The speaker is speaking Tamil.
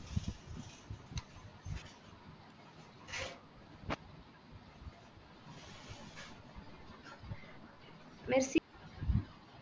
மெர்சி